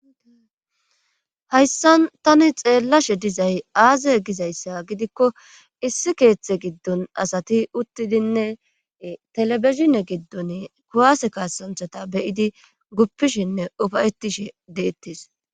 hayssan tani xeellashe dizay aaze gizayssa gidikko issi keeththe giddon asati uttidinne telebizhine giddon kuwase kasanchata beyidi guppishinne ufayettishe deettes